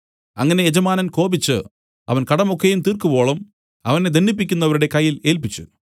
അങ്ങനെ യജമാനൻ കോപിച്ചു അവൻ കടമൊക്കെയും തീർക്കുവോളം അവനെ ദണ്ഡിപ്പിക്കുന്നവരുടെ കയ്യിൽ ഏല്പിച്ചു